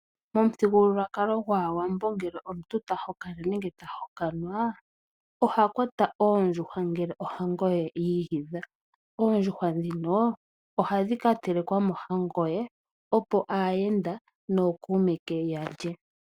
Momuthigululwakalo gwAawambo ngele omuntu ta hokana nenge ta hokanwa. Oha kwata oondjuhwa ngele ohango ye ya igidha. Oondjuhwa dhino ohadhi ka telekwa mohango ye opo aayenda nookuume ke yalye.